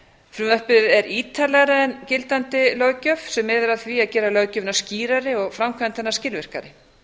frumvarpið er ítarlegra en gildandi löggjöf sem miðar að því að gera löggjöfina skýrari og framkvæmd hennar skilvirkari